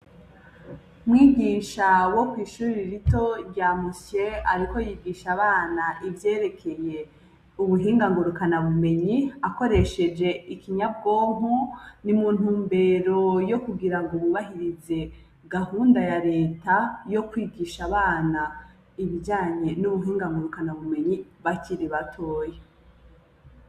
Mwigisha wo kw'ishuri rito rya Musye ariko yigisha abana ivyerekeye ubuhinga ngurukanabumenyi akoresheje ikinyabwonko, ni mu ntumbero yo kugira ngo bubahirize gahunda ya reta yo kwigisha abana ibijanye n'ubuhinga ngurukanabumenyi bakiri batoya.